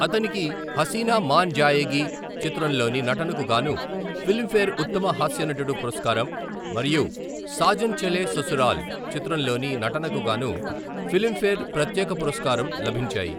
అతనికి 'హసీనా మాన్ జాయేగి' చిత్రంలోని నటనకుగాను ఫిలింఫేర్ ఉత్తమ హాస్య నటుడు పురస్కారం, మరియు 'సాజన్ చలే ససురాల్' చిత్రంలోని నటనకు గాను ఫిలింఫేర్ ప్రత్యేక పురస్కారం లభించాయి.